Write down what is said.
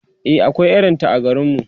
e akwai irinta a garinmu